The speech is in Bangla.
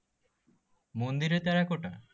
মন্দিরে টেরাকোটা?